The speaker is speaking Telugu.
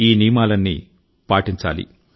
ఈ నియమాలన్నీ పాటించండి